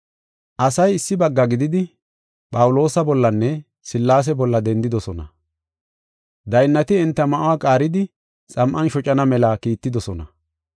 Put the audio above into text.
Asay issi bagga gididi, Phawuloosa bollanne Sillaase bolla dendidosona. Daynnati enta ma7uwa qaaridi xam7an shocana mela kiittidosona.